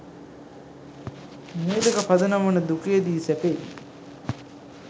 මූළික පදනම වන දුකේදී සැපේදී